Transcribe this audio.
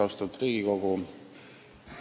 Austatud Riigikogu!